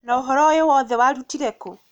Na ũhoro ũyũ wothe warutire kũ?